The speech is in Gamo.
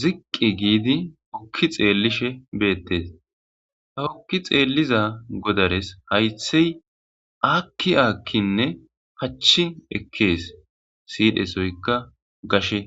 ziqqi giidi okki xeellishe beettes ha ukki xeelliza godares haythey akki aakkinne pachin ekkees siidhesoykka gashe.